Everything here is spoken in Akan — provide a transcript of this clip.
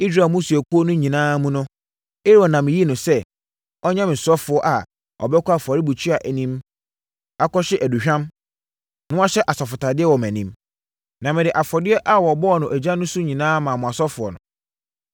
Israel mmusuakuo no nyinaa mu no, Aaron na meyii no sɛ, ɔnyɛ me ɔsɔfoɔ a ɔbɛkɔ afɔrebukyia anim akɔhye aduhwam, na wahyɛ asɔfotadeɛ wɔ mʼanim. Na mede afɔdeɛ a wɔbɔɔ no ogya so no nyinaa maa mo asɔfoɔ no.